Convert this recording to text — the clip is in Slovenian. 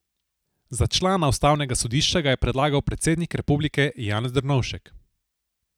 Za člana ustavnega sodišča ga je predlagal predsednik republike Janez Drnovšek.